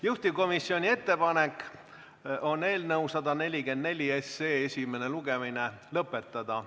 Juhtivkomisjoni ettepanek on eelnõu 144 esimene lugemine lõpetada.